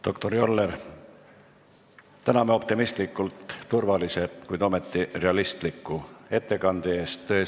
Doktor Joller, täname optimistlikult turvalise, kuid ometi realistliku ettekande eest!